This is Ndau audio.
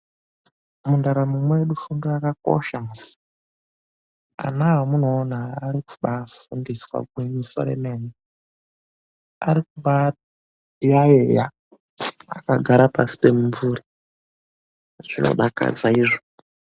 MUNDARAMO MEDU FUNDO YAKAKOSHA MUSI. ANA AMUNOONAA ARIKUBAA FUNDISWA GWINYISO REMENE. ARIKUBAA YAYEYA AKAGARA PASI PEMUMVURI. ZVINODAKADZA IZVO.